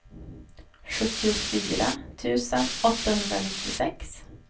sjuttiofyra tusen åttahundranittiosex